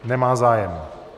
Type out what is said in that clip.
Nemá zájem.